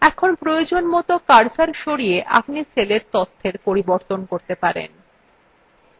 এখন প্রয়োজনমত cursor সরিয়ে আপনি cellএর তথ্যের পরিবর্তন করতে পারেন